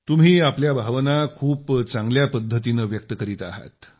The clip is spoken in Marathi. तुम्ही आपल्या भावना खूप चांगल्या पद्धतीनं व्यक्त करीत आहात